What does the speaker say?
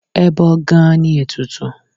Ẹbọ gan-an ni ètùtù.